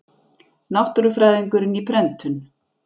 Náttúrufræðingurinn, í prentun.